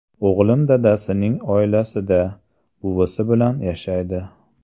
O‘g‘lim dadasining oilasida, buvisi bilan yashaydi.